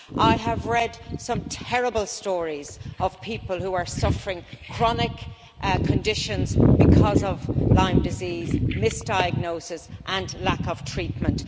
I have read some terrible stories of people who are suffering chronic conditions because of Lyme disease misdiagnosis and lack of treatment.